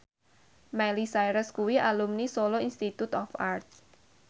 Miley Cyrus kuwi alumni Solo Institute of Art